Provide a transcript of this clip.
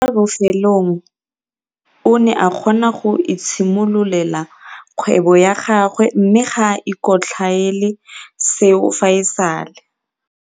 Kwa bofelong o ne a kgona go itshimololela kgwebo ya gagwe mme ga a ikotlhaele seo fa e sale.